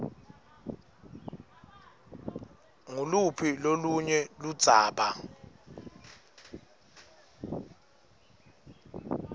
nguluphi lolunye ludzaba